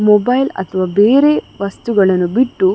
mobile ಅಥವಾ ಬೇರೆ ವಸ್ತುಗಳ್ಳನ್ನು ಬಿಟ್ಟು --